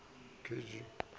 re ba re ke mo